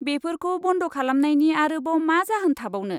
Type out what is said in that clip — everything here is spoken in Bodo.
बेफोरखौ बन्द खालामनायनि आरोबाव मा जाहोन थाबावनो।